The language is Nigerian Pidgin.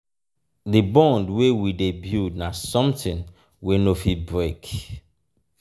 di bond wey we dey build na something wey no fit break.